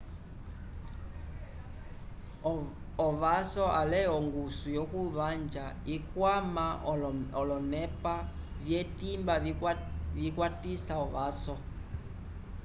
ovaso ale ongusu yokuvanja ikwama olonepa vyetimba vikwatisa ovaso